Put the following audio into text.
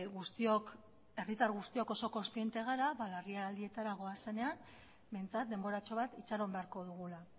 guztiok herritar guztiok oso kontziente gara larrialdietara goazenean behintzat denboratxo bat itxaron beharko dugula